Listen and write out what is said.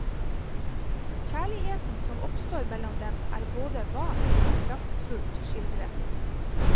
Kjærligheten som oppstår mellom dem, er både vart og kraftfullt skildret.